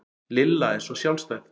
Lilla er svo sjálfstæð